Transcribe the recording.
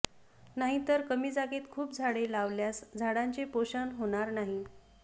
नाहीतर कमी जागेत खूप झाडे लावल्यास झाडांचे पोषण होणार नाही